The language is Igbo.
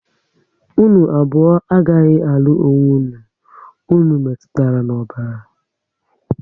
Unu abụọ agaghị alụ onwe unu, unu metụtara na ọbara